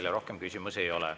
Teile rohkem küsimusi ei ole.